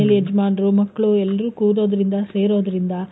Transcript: ಯಜಮಾನ್ರು ಮಕ್ಳು ಎಲ್ರು ಕೂರೋದ್ರಿಂದ ಸೇರೊದ್ರಿಂದ,